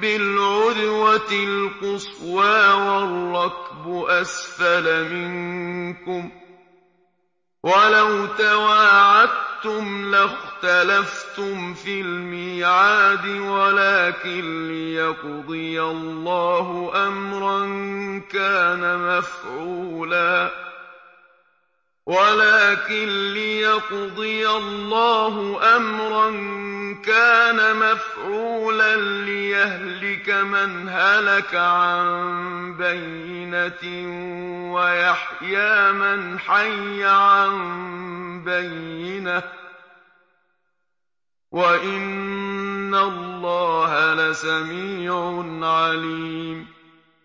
بِالْعُدْوَةِ الْقُصْوَىٰ وَالرَّكْبُ أَسْفَلَ مِنكُمْ ۚ وَلَوْ تَوَاعَدتُّمْ لَاخْتَلَفْتُمْ فِي الْمِيعَادِ ۙ وَلَٰكِن لِّيَقْضِيَ اللَّهُ أَمْرًا كَانَ مَفْعُولًا لِّيَهْلِكَ مَنْ هَلَكَ عَن بَيِّنَةٍ وَيَحْيَىٰ مَنْ حَيَّ عَن بَيِّنَةٍ ۗ وَإِنَّ اللَّهَ لَسَمِيعٌ عَلِيمٌ